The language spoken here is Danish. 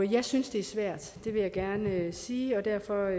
jeg synes det er svært det vil jeg gerne sige og derfor